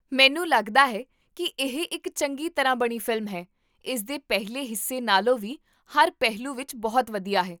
ਮੈਨੂੰ ਲੱਗਦਾ ਹੈ ਕੀ ਇਹ ਇੱਕ ਚੰਗੀ ਤਰ੍ਹਾਂ ਬਣੀ ਫ਼ਿਲਮ ਹੈ, ਇਸਦੇ ਪਹਿਲੇ ਹਿੱਸੇ ਨਾਲੋਂ ਵੀ ਹਰ ਪਹਿਲੂ ਵਿੱਚ ਬਹੁਤ ਵਧੀਆ ਹੈ